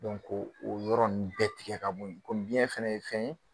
o o yɔrɔ nun bɛɛ tigɛ ka bɔ ye komi biyɛn fana ye fɛn ye